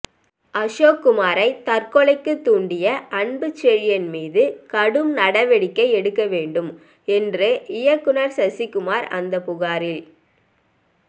அசோக்குமாரை தற்கொலைக்குத் தூண்டிய அன்புச்செழியன் மீது கடும் நடவடிக்கை எடுக்க வேண்டும் என்று இயக்குநர் சசிகுமார் அந்த புகாரில்